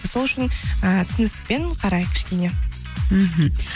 сол үшін ііі түсіністікпен қарайық кішкене мхм